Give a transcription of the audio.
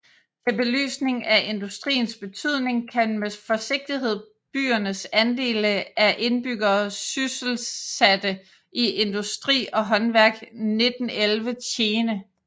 Til belysning af industriens betydning kan med forsigtighed byernes andele af indbyggerne sysselsatte i industri og håndværk 1911 tjene